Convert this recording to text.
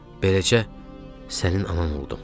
Beləcə sənin anan oldum.